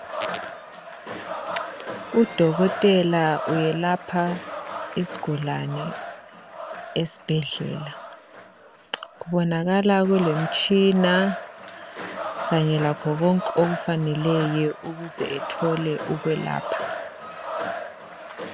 u dokotela uyelapha isgulane esibhedlela kubonakala kulemtshina kanye lakho konke okufaneleyo ukuze ethole ukwelapha